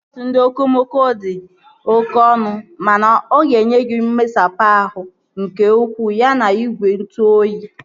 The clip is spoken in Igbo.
Bọọsu ndị okomoko dị oké ọnụ mana oga enye gị mmesapụ ahụ nke ukwuu ya na igwe ntụ oyi